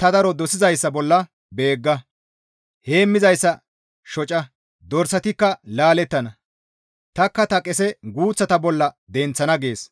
ta daro dosizayssa bolla beegga! Heemmizayssa shoca; dorsatikka laalettana; tanikka ta qese guuththata bolla denththana› » gees.